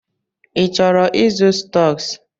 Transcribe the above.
Ị chọrọ ịzụ stọks?